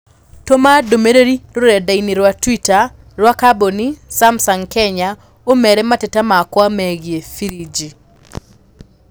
Tũma ndũmīrīri rũrenda-inī rũa tũita rũa kambũni Samsung Kenya ũmeere mateta makwa megiī firinji